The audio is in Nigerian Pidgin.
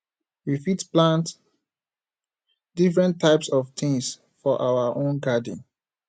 we fit plant different types of things for our own garden